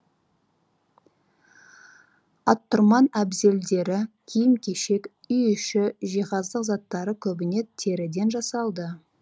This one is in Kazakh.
аттұрман әбзелдері киім кешек үй іші жиһаздық заттары көбіне теріден жасалды